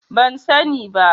Ban sa ni ba